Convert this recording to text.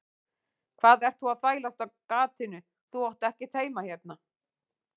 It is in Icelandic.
Hvað ert þú að þvælast á gatinu, þú átt ekkert heima hérna.